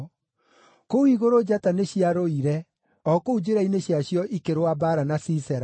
Kũu igũrũ njata nĩciarũire, o kũu njĩra-inĩ ciacio ikĩrũa mbaara na Sisera.